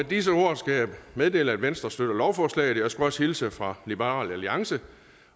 disse ord skal jeg meddele at venstre støtter lovforslaget og jeg skulle også hilse fra liberal alliance